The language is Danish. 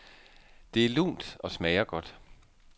Det er lunt og smager godt.